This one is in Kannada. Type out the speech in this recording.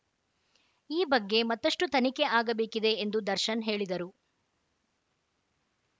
ಈ ಬಗ್ಗೆ ಮತ್ತಷ್ಟುತನಿಖೆ ಆಗಬೇಕಿದೆ ಎಂದು ದರ್ಶನ್‌ ಹೇಳಿದರು